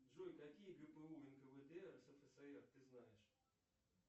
джой какие гпу нквд рсфср ты знаешь